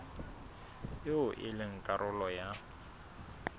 eo e leng karolo ya